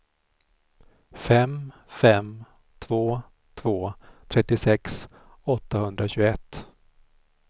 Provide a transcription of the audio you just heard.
fem fem två två trettiosex åttahundratjugoett